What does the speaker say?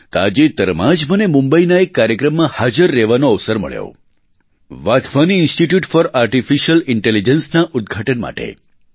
તાજેતરમાં જ મને મુંબઇના એક કાર્યક્રમમાં હાજર રહેવાનો અવસર મળ્યો વાધવાની ઇન્સ્ટિટ્યૂટ ફોર આર્ટીફિશિયલ ઇન્ટેલિજન્સના ઉદઘાટન માટે